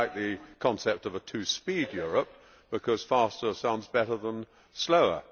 I do not like the concept of a two speed Europe, because faster sounds better than slower.